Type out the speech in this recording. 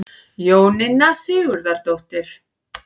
Jóninna Sigurðardóttir.